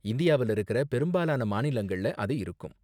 இந்தியாவுல இருக்கற பெரும்பாலான மாநிலங்கள்ல அது இருக்கும்.